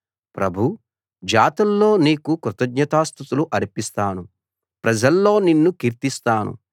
ప్రభూ జాతుల్లో నీకు కృతజ్ఞతాస్తుతులు అర్పిస్తాను ప్రజల్లో నిన్ను కీర్తిస్తాను